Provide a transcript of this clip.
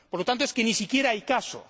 Por lo tanto, es que ni siquiera hay caso.